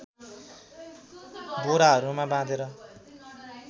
बोराहरूमा बाँधेर